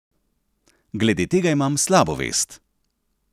Glede tega imam slabo vest!